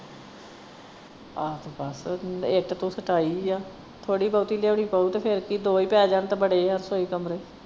ਆਹੋ ਬਸ ਇੱਟ ਤੂੰ ਕਟਾਈ ਆ ਥੋੜੀ ਬਹੁਤੀ ਲਿਆਉਣੀ ਪਊ ਤੇ ਫੇਰ ਕਿ ਦੋ ਈ ਪੈ ਜਾਣ ਤਾ ਬੜੇ ਆ ਰਸੋਈ ਕਮਰੇ।